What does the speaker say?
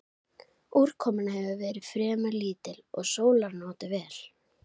Úrkoman hefur verið fremur lítil og sólar notið vel.